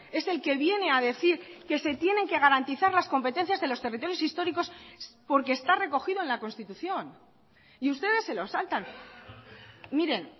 es el que viene a decir que se tienen que garantizar las competencias de los territorios históricos porque está recogido en la constitución y ustedes se lo saltan miren